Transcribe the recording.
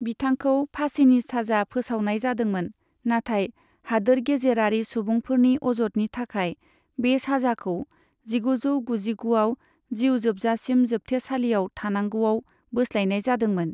बिथांखौ फासिनि साजा फोसावनाय जादोंमोन, नाथाय हादोर गेजेरारि सुबुंफोरनि अजदनि थाखाय, बे साजाखौ जिगुजौ गुजिगुआव जिउ जोबसासिम जोबथेसालिआव थानांगौआव बोस्लायनाय जादोंमोन।